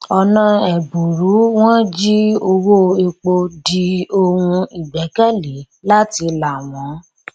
ọnà ẹbùrú wọn jí owó epo di ohun ìgbẹ́kẹ̀lé láti là wọn